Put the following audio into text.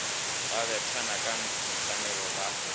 ba bethana ka mesamelo ba